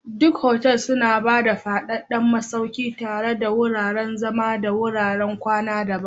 Duk otal suna ba da faffadan masauki tare da wuraren zama da wuraren kwana daban.